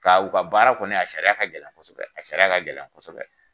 Ka u ka baara kɔni a sariya a ka gɛlɛn kosɛbɛ, a sariya a ka gɛlɛn kosɛbɛ.